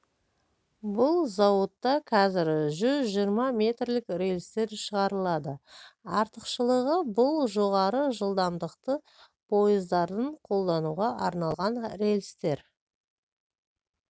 бұл зауытта қазір жүз жиырма метрлік рельстер шығарылады артықшылығы бұл жоғары жылдамдықты пойыздардың қолдануға арналған рельстер